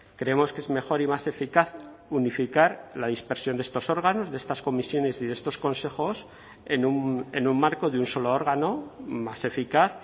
creemos que es mejor y más eficaz unificar la dispersión de estos órganos de estas comisiones y de estos consejos en un marco de un solo órgano más eficaz